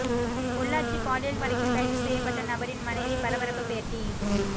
பொள்ளாச்சி பாலியல் வழக்கில் கைது செய்யப்பட்ட நபரின் மனைவி பரபரப்பு பேட்டி